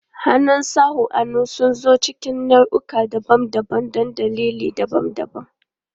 Hannun sawun hannu sun zo cikin nau'ikan daban-daban don dalilai daban-daban.